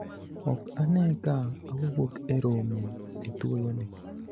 ok ane ka awuok e romo e thuolo ni